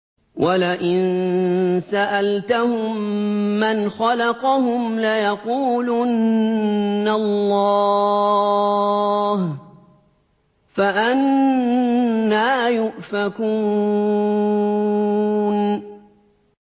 وَلَئِن سَأَلْتَهُم مَّنْ خَلَقَهُمْ لَيَقُولُنَّ اللَّهُ ۖ فَأَنَّىٰ يُؤْفَكُونَ